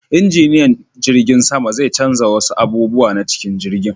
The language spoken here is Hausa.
Injiniyan jirgin sama zai canja wasu abubuwa na cikin jirgin.